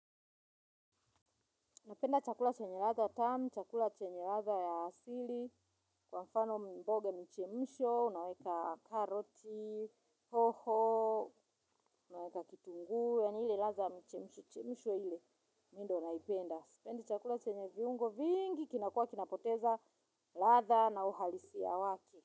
Napenda chakula chenye ladha tamu, chakula chenye ladha ya asili, kwa mfano mboga michemisho, unaweka karoti, hoho, unaweka kitunguu, yaani hile ladha michemisho chemisho ile, mi ndo naipenda. Sipenda chakula chenye viungo vingi, kinakuwa kinapoteza ladha na uhalisia wake.